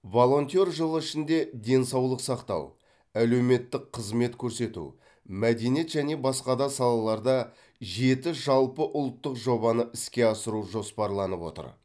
волонтер жылы ішінде денсаулық сақтау әлеуметтік қызмет көрсету мәдениет және басқа да салаларда жеті жалпыұлттық жобаны іске асыру жоспарланып отыр